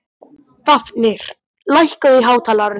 Fáfnir, lækkaðu í hátalaranum.